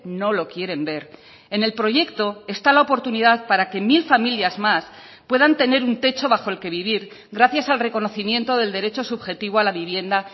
no lo quieren ver en el proyecto está la oportunidad para que mil familias más puedan tener un techo bajo el que vivir gracias al reconocimiento del derecho subjetivo a la vivienda